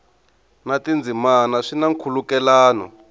na tindzimana swi na nkhulukelano